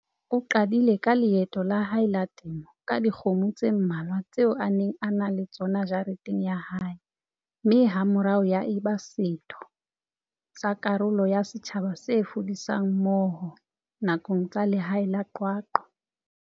O qadile ka leeto la hae la temo ka dikgomo tse mmalwa tseo a neng a ena le tsona jareteng ya hae, mme hamorao ya eba setho sa karolo ya setjhaba se fudisang mmoho, nakong tsa lehae la Qwaqwa.